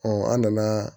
an nana